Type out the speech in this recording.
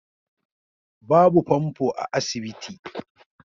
Babu fanfo a asibiti